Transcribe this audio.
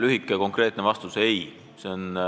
Lühike ja konkreetne vastus: ei ürita.